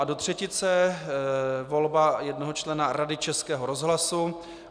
A do třetice volba jednoho člena Rady Českého rozhlasu.